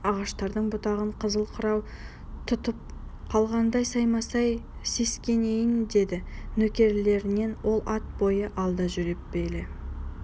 ағаштардың бұтағын қызыл қырау тұтып қалғандай саймасай сескенейін деді нөкерлерінен ол ат бойы алда жүріп келе